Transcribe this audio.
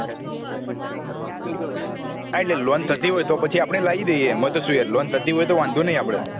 હા એટલે loan થતી હોય તો પછી લાયી દયીયે એમાં તો શું યાર loan થતી હોય તો વાંધો નહિ આપડે